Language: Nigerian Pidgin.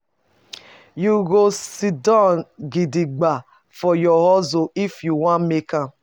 You go sidon gidigba for your hustle if you wan make am.